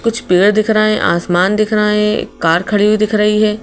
कुछ पेड़ दिख रहें आसमान दिख रहें एक कार खड़ी हुई दिख रही है।